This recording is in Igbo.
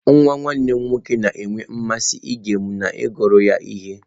Nwa nwanne m nwoke na-enwe mmasị ige m na-agụrụ ya ihe.